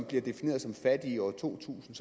blev defineret som fattige i år to tusind